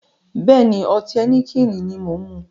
Bẹ́ẹ̀ni, ọtí Heineken ni mo ń mu